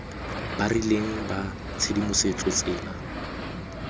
ba rileng ba tshedimosetso tsela